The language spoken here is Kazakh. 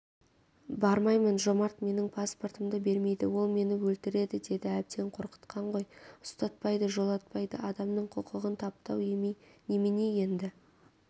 бармаймын жомарт менің паспортымды бермейді ол мені өлтіреді деді әбден қорқытқан ғой ұстатпайды жолатпайды адамның құқығын таптау емей немене енді